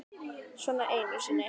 Svona einu sinni?